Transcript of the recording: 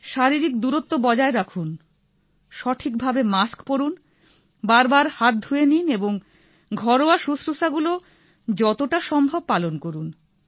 শারীরিক দুরত্ব বজায় রাখুন সঠিক ভাবে মাস্ক পরুন বারবার হাত ধুয়ে নিন এবং ঘরোয়া শুশ্রুষাগুলি যতটা সম্ভব পালন করুন